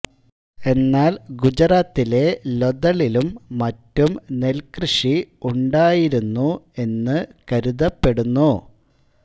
എന്നാൽ ഗുജറാത്തിലെ ലൊഥളിലും മറ്റും നെൽകൃഷി ഉണ്ടായിരുന്നു എന്നു കരുതപ്പെടുന്നു